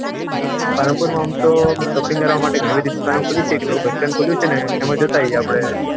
પાલનપુર ઓમ તો shopping કરવા માટે ગણી બાધી દુકાનો ખુલી છે, એક નવું bus stand ખોલું છે ને એમાં જતાંયે આપડે.